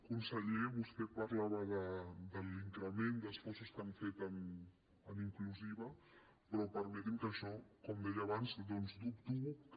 conseller vostè parlava de l’increment d’esforços que han fet en inclusiva però permeti’m que això com deia abans doncs dubto que